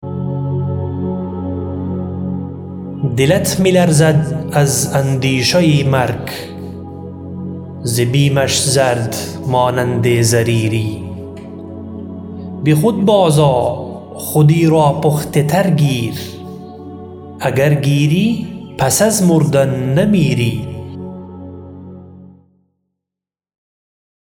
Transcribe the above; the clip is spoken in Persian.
دلت می لرزد از اندیشه مرگ ز بیمش زرد مانند زریری به خود باز آ خودی را پخته تر گیر اگر گیری پس از مردن نمیری